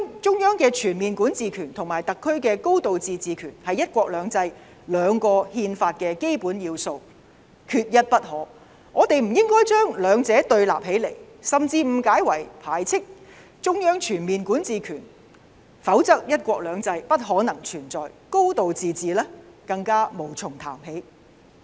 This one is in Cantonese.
中央的全面管治權和特區的"高度自治"權是"一國兩制"的基本要素，缺一不可，我們不應該把兩者對立，甚至誤解為排斥中央全面管治權，否則"一國兩制"不可能存在，"高度自治"更無從談起。